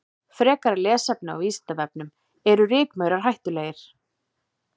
Frekara lesefni á Vísindavefnum: Eru rykmaurar hættulegir?